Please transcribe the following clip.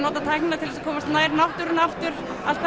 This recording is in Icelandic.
nota tæknina til að komast nær náttúrunni aftur